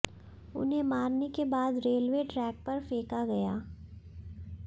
उन्हे मारने के बाद रेलवे ट्रैक पर फेंका गया